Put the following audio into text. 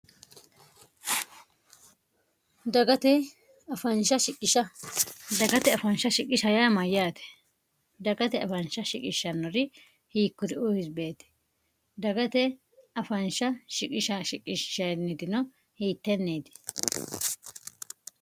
dagatefsiisdagate afaansha shiqisha hayaa mayyaate dagate afaansha shiqishannori hiikkuri uwisibeeti dagate afaansha shiqishashiqissnnitino hiittenneeti